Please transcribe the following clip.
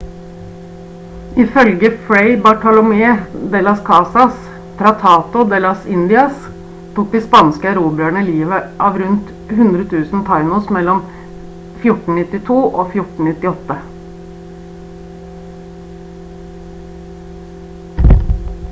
ifølge fray bartolomé de las casas tratado de las indias tok de spanske erobrerne livet av rundt 100 000 taínos mellom 1492 og 1498